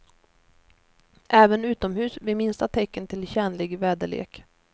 Även utomhus vid minsta tecken till tjänlig väderlek.